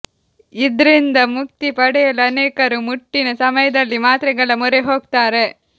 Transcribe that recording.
ಇದ್ರಿಂದ ಮುಕ್ತಿ ಪಡೆಯಲು ಅನೇಕರು ಮುಟ್ಟಿನ ಸಮಯದಲ್ಲಿ ಮಾತ್ರೆಗಳ ಮೊರೆ ಹೋಗ್ತಾರೆ